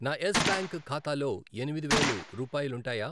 నా Yes Bank ఖాతాలో ఎనిమిది వేలు రూపాయాలుంటాయా?